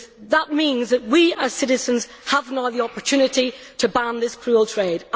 That means that we as citizens now have the opportunity to ban this cruel trade.